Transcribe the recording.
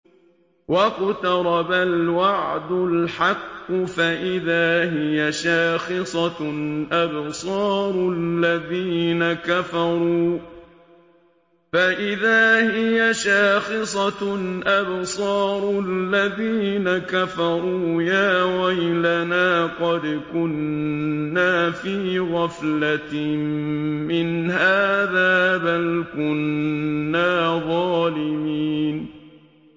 وَاقْتَرَبَ الْوَعْدُ الْحَقُّ فَإِذَا هِيَ شَاخِصَةٌ أَبْصَارُ الَّذِينَ كَفَرُوا يَا وَيْلَنَا قَدْ كُنَّا فِي غَفْلَةٍ مِّنْ هَٰذَا بَلْ كُنَّا ظَالِمِينَ